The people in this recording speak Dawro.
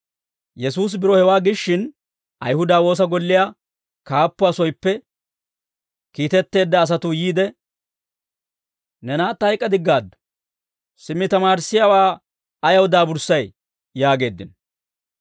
Yesuusi biro hewaa giishshin, Ayihuda woosa golliyaa kaappuwaa soyippe kiitetteedda asatuu yiide, «Ne naatta hayk'k'adiggaaddu; simmi tamaarissiyaawaa ayaw daaburssay?» yaageeddino.